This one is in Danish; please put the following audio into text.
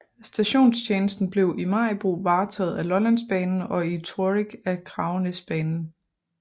Stationstjenesten blev i Maribo varetaget af Lollandsbanen og i Torrig af Kragenæsbanen